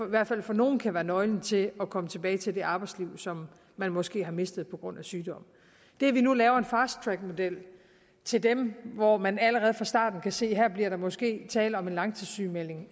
hvert fald for nogle kan være nøglen til at komme tilbage til det arbejdsliv som man måske har mistet på grund af sygdom det at vi nu laver en fast track model til dem hvor man allerede fra starten kan se at her bliver der måske tale om en langtidssygemelding